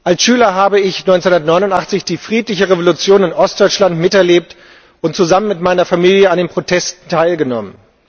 Als Schüler habe ich 1989 die friedliche Revolution in Ostdeutschland miterlebt und zusammen mit meiner Familie an den Protesten teilgenommen.